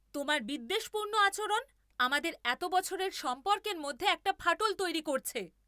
তোমার বিদ্বেষপূর্ণ আচরণ আমাদের এত বছরের সম্পর্কের মধ্যে একটা ফাটল তৈরি করছে।